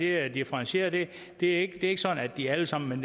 er differentieret det er ikke sådan at de alle sammen